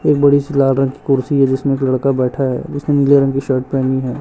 एक बड़ी सी लाल रंग की कुर्सी है। जिसमें एक लड़का बैठा है। उसने नीले रंग की शर्ट पहेनी है।